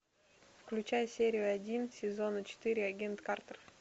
включай серию один сезона четыре агент картер